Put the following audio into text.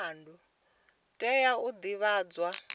tea u divhadzwa nga ha